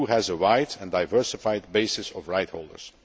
The EU has a wide and diversified basis of right holders.